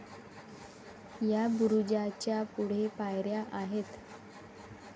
या बुरुजाच्या पुढे पायऱ्या आहेत.